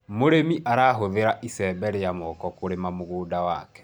mũrĩmi arahuthira icembe cia moko kurima mũgũnda wake